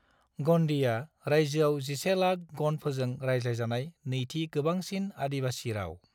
गंडीआ रायजोआव 11 लाख गंडफोरजों रायज्लायजानाय नैथि गोबांसिन आदिबासी राव।